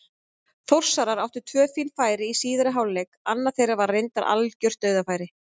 Þórsarar áttu tvö fín færi í síðari hálfleik, annað þeirra var reyndar algjört dauðafæri.